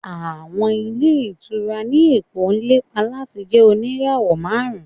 Àwọn ilé ìtura ní Èkó ń lépa láti jẹ oníràwọ̀ márùn-ún.